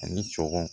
Ani sɔgɔn